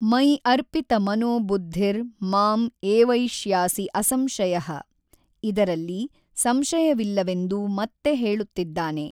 ಮಯಿ ಅರ್ಪಿತ ಮನೋ ಬುದ್ಧಿರ್ ಮಾಂ ಏವೈಷ್ಯಾಸಿ ಅಸಂಶಯಃ ಇದರಲ್ಲಿ ಸಂಶಯವಿಲ್ಲವೆಂದು ಮತ್ತೆ ಹೇಳುತ್ತಿದ್ದಾನೆ.